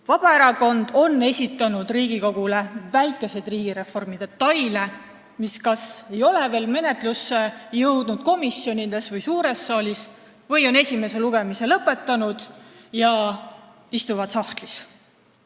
Vabaerakond on esitanud Riigikogule väikseid riigireformi detaile, mis kas ei ole veel komisjonide või suure saali menetlusse jõudnud või on nende esimene lugemine lõpetatud ja nad on sahtlisse jäänud.